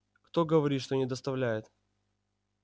кто говорит что не доставляет